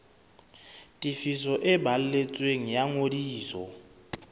tefiso e balletsweng ya ngodiso